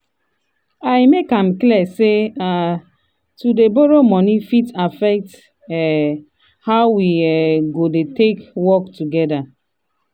i make am clear say um to dey borrow money fit affect um how we um go take work together.